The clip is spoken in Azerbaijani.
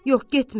Yox, getmə.